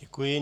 Děkuji.